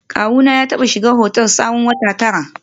Kawuna ya taba shiga otel tsawon wata tara